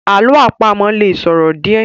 Àlọ́ àpamọ̀ lè sòro díẹ̀